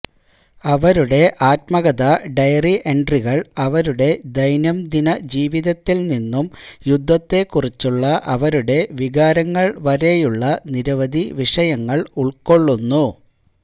അവരുടെ ആത്മകഥ ഡയറി എൻട്രികൾ അവരുടെ ദൈനംദിന ജീവിതത്തിൽ നിന്നും യുദ്ധത്തെക്കുറിച്ചുള്ള അവരുടെ വികാരങ്ങൾ വരെയുള്ള നിരവധി വിഷയങ്ങൾ ഉൾക്കൊള്ളുന്നു